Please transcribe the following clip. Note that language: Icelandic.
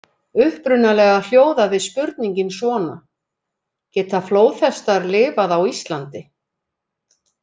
Upprunalega hljóðaði spurningin svona: Geta flóðhestar lifað á Íslandi?